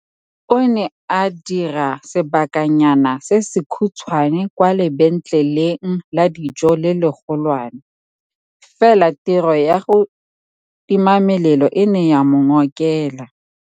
O ne a dira sebakanyana se se khutshwane kwa lebenkeleng la dijo le legolwane, fela tiro ya go timamelelo e ne ya mo ngokela.